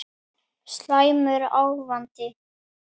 Slæmur ávani